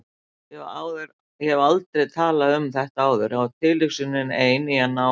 Ég hef aldrei talað um þetta áður og tilhugsunin ein, í ná